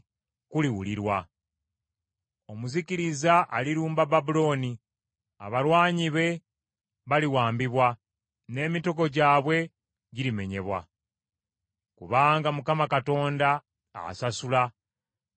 Omuzikiriza alirumba Babulooni; abalwanyi be baliwambibwa, n’emitego gyabwe girimenyebwa. Kubanga Mukama Katonda asasula, alisasula mu bujjuvu.